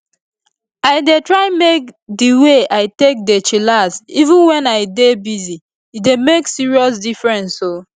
i dey try make di way i take dey chillax even wen i dey busy e dey make serious difference o